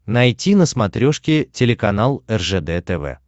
найти на смотрешке телеканал ржд тв